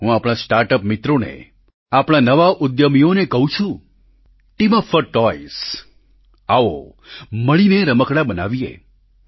હું આપણા સ્ટાર્ટઅપ મિત્રોને આપણા નવા ઉદ્યમીઓને કહું છું ટીમ અપ ફોર ટોય્ઝ આવો મળીને રમકડાં બનાવીએ